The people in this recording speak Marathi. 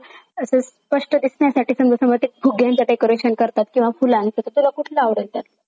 अस स्पष्ट दिसण्यासाठी सांग संग एक फुग्यांचा decoration करतात किंवा फुलांचं तर तुला कुठलं आवडलं त्यातलं?